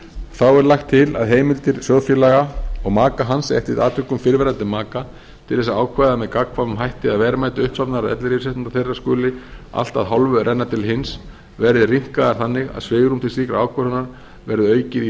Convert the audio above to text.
þá er lagt til að heimildir sjóðfélaga og maka hans eftir atvikum fyrrverandi maka til þess að ákveða með gagnkvæmum hætti að verðmæti uppsafnaðs ellilífeyrisréttinda þeirra skuli allt að hálfu renna til hins verði rýmkaðar þannig að svigrúm til slíkrar ákvörðunar verði aukið í